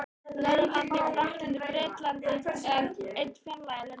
Norðurlanda: í Frakklandi, Bretlandi eða enn fjarlægari löndum.